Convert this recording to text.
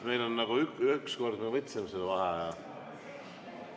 Me ükskord juba võtsime vaheaja.